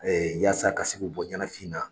Ee yasa ka se ku bɔ ɲɛnafin na.